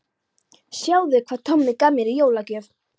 Sjáðu hvað Tommi gaf mér í jólagjöf